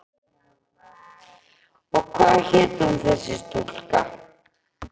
Og hvað hét hún þessi stúlka?